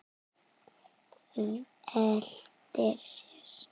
Veltir sér.